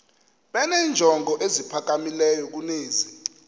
benenjongo eziphakamileyo kunezi